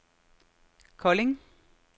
Kolding